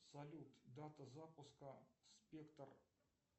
салют дата запуска спектр